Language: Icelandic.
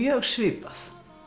svipað